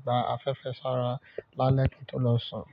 gba afẹ́fẹ́ sára lálẹ́ kí tó lọ sùn.